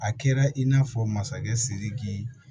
A kɛra in n'a fɔ masakɛ sidiki